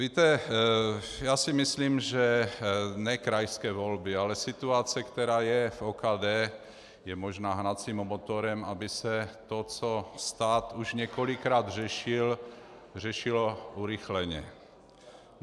Víte, já si myslím, že ne krajské volby, ale situace, která je v OKD, je možná hnacím motorem, aby se to, co stát už několikrát řešil, řešilo urychleně.